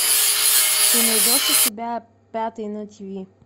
ты найдешь у себя пятый на тв